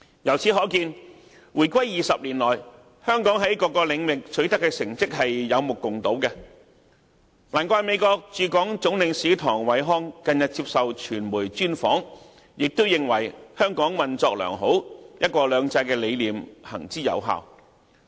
由此可見，回歸20年來，香港在各領域所取得的成績是有目共睹的，難怪美國駐港總領事唐偉康近日接受傳媒專訪時，亦認為香港運作良好，"一國兩制"的理念行之有效。